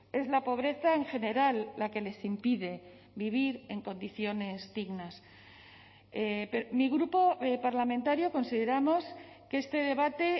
es la pobreza en general la que les impide vivir en condiciones dignas mi grupo parlamentario consideramos que este debate